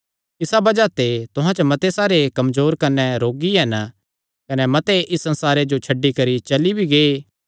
इसा बज़ाह ते तुहां च मते सारे कमजोर कने रोगी हन कने मते इस संसारे जो छड्डी करी चली भी गै